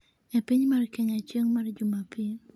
e Piny mar Kenya chieng' mar jumapil